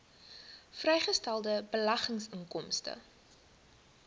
vrygestelde beleggingsinkomste